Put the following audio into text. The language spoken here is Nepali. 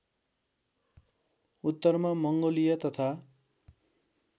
उत्तरमा मङ्गोलिया तथा